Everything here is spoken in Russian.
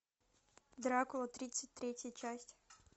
дракула тридцать третья часть